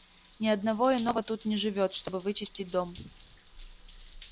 ни одного иного тут не живёт чтобы вычистить дом